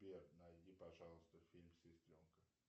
сбер найди пожалуйста фильм сестренка